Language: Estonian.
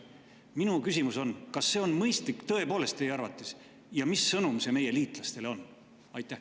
Minu küsimus on: kas see on tõepoolest mõistlik teie arvates ja mis sõnum see meie liitlastele on?